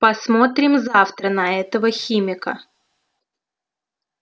посмотрим завтра на этого химика